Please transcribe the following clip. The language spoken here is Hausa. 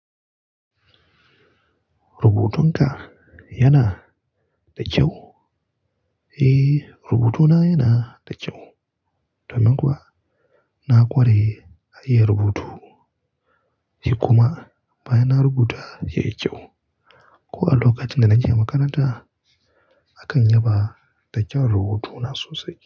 Rubutunka yana da kyau? Eh, rubutuna yana da kyau, domin kuwa na ƙware a iya rubutu. Ni kuma baya na rubuta yayi kyau. Ko a lokacin da na ke makaranta, akan yaba da kyawun rubutuna sosai.